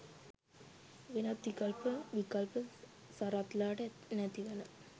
වෙනත් විකල්ප විකල්ප සරත්ලාට නැතිවන